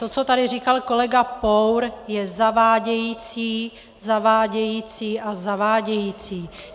To, co tady říkal kolega Pour, je zavádějící, zavádějící a zavádějící.